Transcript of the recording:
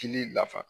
Kili nafa